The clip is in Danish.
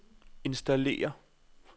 installere